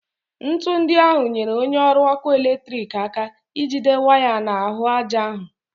Ńtù ndị ahụ nyere onye ọrụ ọkụ eletriki aka ijide waya n'ahụ aja ahụ